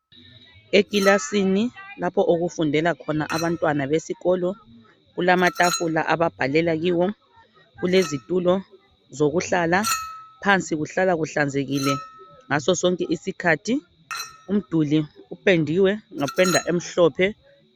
Ekilasini lapho okufundela khona abantwana besikolo . Kulamathafula ababhalela kiwo ,kulezithulo zokuhlala ,phansi Kuhlala kuhlanzekile ngaso sonke isikhathi. Umduli uphendiwe ngephenda emhlophe.